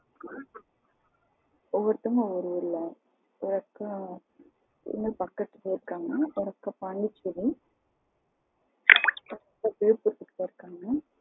இல்ல ஒவ்வொருத்தங்களும் ஒவ்வொரு ஊருல? ஒவ்வொருத்தங்களும் ஒவ்வொரு ஊருல ஒரு அக்கா இங்க பக்கத்துலையே இருக்காங்க ஒரு அக்கா பாண்டிசேரி ம் இன்னொருத்தங்க விலுபுரத்துல இருக்காங்க.